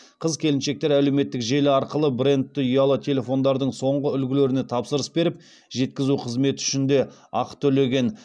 қыз келіншектер әлеуметтік желі арқылы брендті ұялы телефондардың соңғы үлгілеріне тапсырыс беріп жеткізу қызметі үшін де ақы төлеген